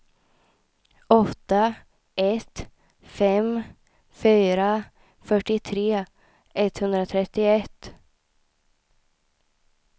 åtta ett fem fyra fyrtiotre etthundratrettioett